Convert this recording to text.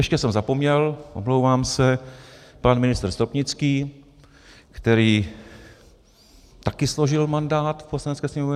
Ještě jsem zapomněl, omlouvám se, pan ministr Stropnický, který taky složil mandát v Poslanecké sněmovně.